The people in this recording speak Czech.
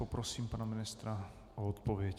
Poprosím pana ministra o odpověď.